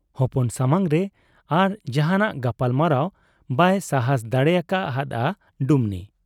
ᱦᱚᱯᱚᱱ ᱥᱟᱢᱟᱝ ᱨᱮ ᱟᱨ ᱡᱟᱦᱟᱸᱱᱟᱜ ᱜᱟᱯᱟᱞᱢᱟᱨᱟᱣ ᱵᱟᱭ ᱥᱟᱦᱟᱸᱥ ᱫᱟᱲᱮ ᱟᱠᱟ ᱦᱟᱫ ᱟ ᱰᱩᱢᱱᱤ ᱾